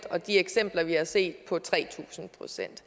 og de eksempler vi har set på tre tusind procent